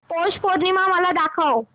पौष पौर्णिमा मला दाखव